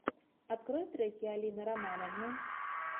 открой треки алины романовны